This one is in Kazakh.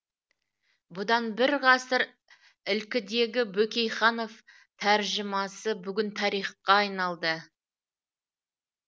бұдан бір ғасыр ілкідегі бөкейханов тәржімасы бүгін тарихқа айналды